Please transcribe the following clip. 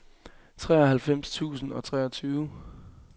treoghalvfems tusind og treogtyve